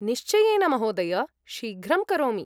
निश्चयेन महोदय, शीघ्रं करोमि।